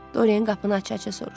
Doryan qapını aça-aça soruşdu.